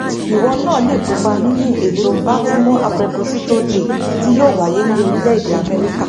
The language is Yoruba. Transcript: ìwọ náà lè kópa nínú ètò baltimore appreposito day tí yóò wáyé ní orílẹèdè amẹríkà